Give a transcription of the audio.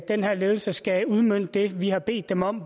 den her ledelse skal udmønte det vi har bedt dem om